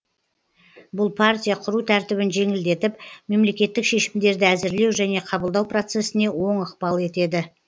бұл партия құру тәртібін жеңілдетіп мемлекеттік шешімдерді әзірлеу және қабылдау процессіне оң ықпал етеді